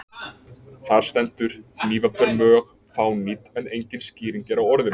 Þar stendur: hnífapör mjög fánýt en engin skýring er á orðinu.